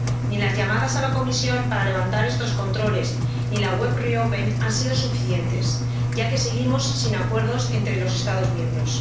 Ni las llamadas a la Comisión para levantar estos controles ni la web Re open EU han sido suficientes, ya que seguimos sin acuerdos entre los Estados miembros.